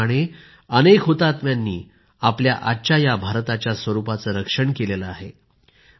त्याचप्रमाणे अनेक हुतात्म्यांनी आपल्या आजच्या या भारताच्या स्वरूपाचे रक्षण केले आहे